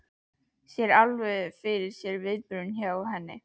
Sér alveg fyrir sér viðbrögðin hjá henni.